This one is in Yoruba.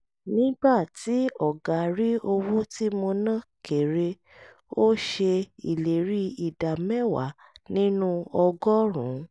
nígbà tí ọ̀gá rí owó tí mo ná kère ó ṣe ìlérí ìdá mẹ́wàá nínú ọgọ́rùn-ún